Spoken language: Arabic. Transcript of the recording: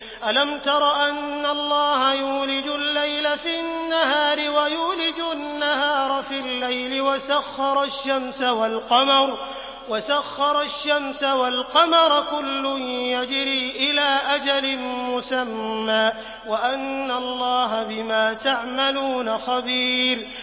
أَلَمْ تَرَ أَنَّ اللَّهَ يُولِجُ اللَّيْلَ فِي النَّهَارِ وَيُولِجُ النَّهَارَ فِي اللَّيْلِ وَسَخَّرَ الشَّمْسَ وَالْقَمَرَ كُلٌّ يَجْرِي إِلَىٰ أَجَلٍ مُّسَمًّى وَأَنَّ اللَّهَ بِمَا تَعْمَلُونَ خَبِيرٌ